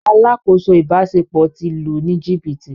“ Alákòóso ìbáṣepọ̀ ” ti lù ú ní jìbìtì.